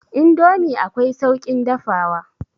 Indomi akwai sauƙin dafawa.